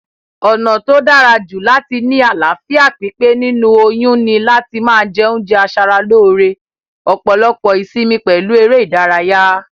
Ònà tó dárajù láti ni àláfíà pípé nínú oyún ni láti ma je oúnje asaralóre, òpòlopò ìsimi pèlu eré ìdárayá